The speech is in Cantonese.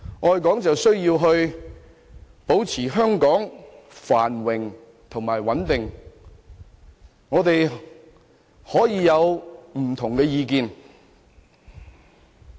愛港須保持香港繁榮穩定，但我們仍可以有不同意見。